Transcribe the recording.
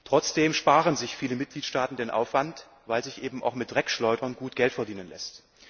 Trotzdem sparen sich viele Mitgliedstaaten den Aufwand, weil sich eben auch mit Dreckschleudern gut Geld verdienen lässt.